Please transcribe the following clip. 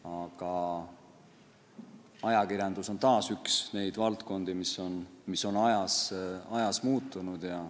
Samas, ajakirjandus on taas üks neid valdkondi, mis on ajas muutunud.